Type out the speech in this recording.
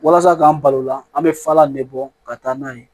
Walasa k'an balo o la an bɛ falan ne bɔ ka taa n'a ye